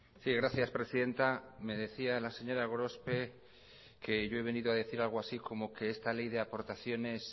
sí gracias presidenta me decía la señora gorospe que yo he venido a decir algo así como que esta ley de aportaciones